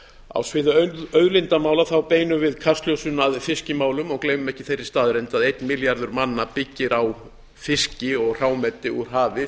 á sviði auðlindamála beinum við kastljósinu að fiskimálum og gleymum ekki þeirri staðreynd að einn milljarður manna byggir á fiski og hrámeti úr hafi